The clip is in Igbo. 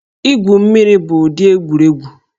Igwu mmiri bụ ụdị egwuregwu